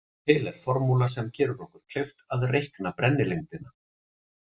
Til er formúla sem gerir okkur kleift að reikna brennilengdina.